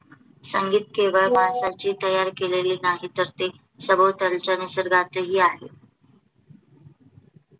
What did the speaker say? संगीत केवळ माणसानी तयार केलेलं नाही, तर ते सभोवतालच्या निसर्गतही आहे.